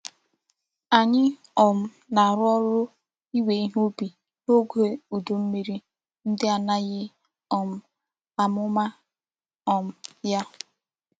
Anyi um na-aru órú iwe ihe ubi n'oge udu mmiri ndi anaghi um amuma um ya.